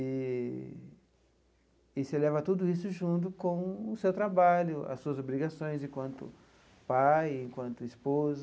Eee e você leva tudo isso junto com o seu trabalho, as suas obrigações enquanto pai, enquanto esposo.